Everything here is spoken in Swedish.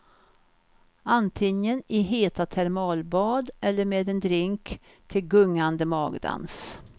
Antingen i heta termalbad eller med en drink till gungande magdans.